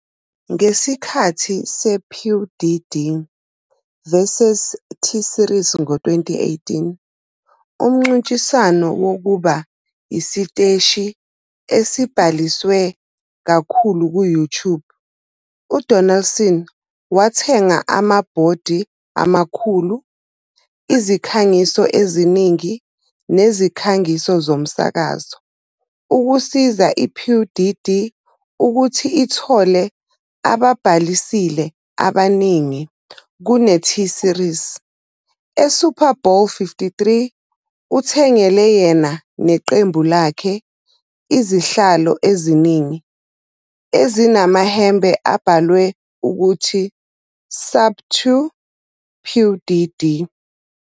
Ngesikhathi sePewDiePie vs T-Series ngo-2018, umncintiswano wokuba isiteshi esibhaliswe kakhulu ku-YouTube, uDonaldson wathenga amabhodi amakhulu, izikhangiso eziningi nezikhangiso zomsakazo ukusiza iPewDiePie ukuthi ithole ababhalisile abaningi kune- T-Series, eSuper Bowl LIII, uthengele yena neqembu lakhe izihlalo eziningi ezinamahembe abhalwe ukuthi, "Sub 2 PewDiePie".